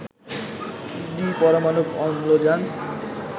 দ্বিপরমাণুক অম্লজান